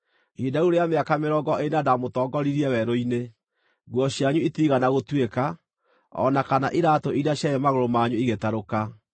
Ihinda rĩu rĩa mĩaka mĩrongo ĩna ndamũtongoririe werũ-inĩ, nguo cianyu itiigana gũtuĩka, o na kana iraatũ iria ciarĩ magũrũ manyu igĩtarũka.